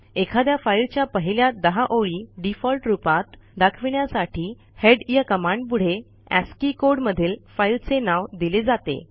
एखाद्या फाईलच्या पहिल्या १० ओळी डिफॉल्ट रूपात दाखविण्यासाठी headया कमांडपुढे अस्की कोड मधील फाईलचे नाव दिले जाते